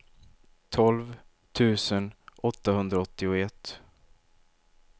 tolv tusen åttahundraåttioett